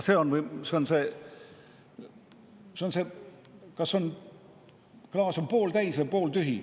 See on see, kas klaas on pooltäis või pooltühi.